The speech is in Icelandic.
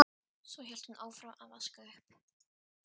Svo hélt hún áfram að vaska upp.